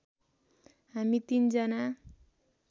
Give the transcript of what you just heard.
हामी तिन जना